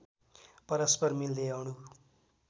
परस्पर मिल्दै अणु